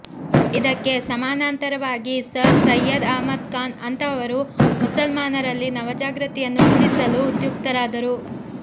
ಇದಕ್ಕೆ ಸಮಾನಾಂತರವಾಗಿ ಸರ್ ಸೈಯದ್ ಅಹ್ಮದ್ ಖಾನ್ ಅಂತಹವರು ಮುಸಲ್ಮಾನರಲ್ಲಿ ನವಜಾಗೃತಿಯನ್ನು ಮೂಡಿಸಲು ಉದ್ಯುಕ್ತರಾದರು